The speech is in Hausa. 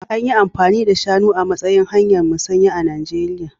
An yi amfani da shanu a matsayin hanyar musanya a Najeriya